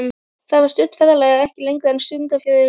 Þetta var stutt ferðalag, ekki lengra en stundarfjórðungur.